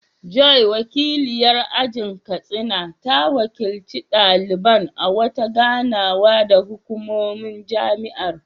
Joy, wakiliyar ajin Katsina, ta wakilci daliban a wata ganawa da hukumomin jami’ar.